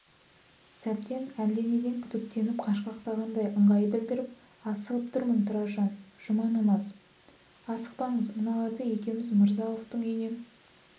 сәбден әлденеден күдіктеніп қашқақтағандай ыңғай білдіріп асығып тұрмын тұраржан жұма намаз асықпаңыз мыналарды екеуміз мырза-ауфтың үйіне